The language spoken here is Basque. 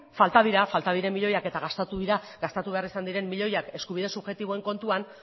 falta dira falta diren milioiak eta gastatu dira gastatu behar izan diren milioiak eskubide subjektiboen kontuan